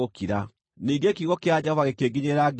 Ningĩ kiugo kĩa Jehova gĩkĩnginyĩrĩra, ngĩĩrwo atĩrĩ: